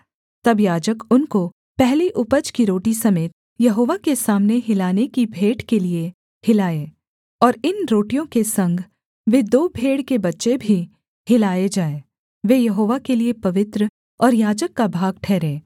तब याजक उनको पहली उपज की रोटी समेत यहोवा के सामने हिलाने की भेंट के लिये हिलाए और इन रोटियों के संग वे दो भेड़ के बच्चे भी हिलाए जाएँ वे यहोवा के लिये पवित्र और याजक का भाग ठहरें